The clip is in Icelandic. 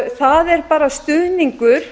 það er bara stuðningur